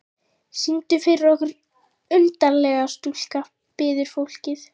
Syngdu fyrir okkur undarlega stúlka, biður fólkið.